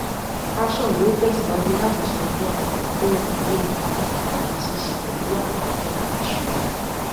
ashon yóò tẹsíwájú láti sọ fún adókòówò lórí pàtàkì àti ṣiṣẹ pẹlú àwọn tó ń ra ìṣúra